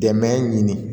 Dɛmɛ ɲini